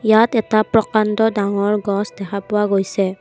ইয়াত এটা প্ৰকাণ্ড ডাঙৰ গছ দেখা পোৱা গৈছে।